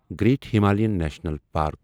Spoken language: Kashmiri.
great Himalayan national park